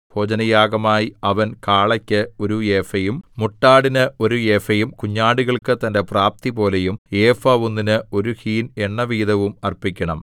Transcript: ഭോജനയാഗമായി അവൻ കാളയ്ക്ക് ഒരു ഏഫയും മുട്ടാടിന് ഒരു ഏഫയും കുഞ്ഞാടുകൾക്കു തന്റെ പ്രാപ്തിപോലെയും ഏഫ ഒന്നിന് ഒരു ഹീൻ എണ്ണവീതവും അർപ്പിക്കണം